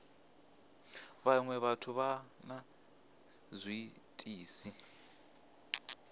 vhaṅwe vhathu vha na zwiitisi